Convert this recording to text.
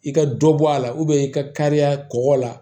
I ka dɔ bɔ a la i ka kariya kɔgɔ la